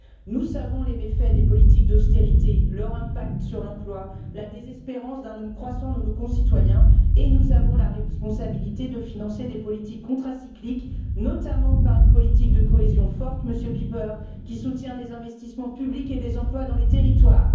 Nous savons les méfaits des politiques d'austérité, leur impact sur l'emploi, la désespérance d'un nombre croissant de nos concitoyens et nous avons la responsabilité de financer des politiques contracycliques, notamment par une politique de cohésion forte, Monsieur Pieper, qui soutient les investissements publics et des emplois dans les territoires.